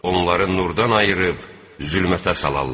Onları nurdan ayırıb, zülmətə salarlar.